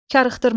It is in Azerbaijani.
Karıxdırmaq.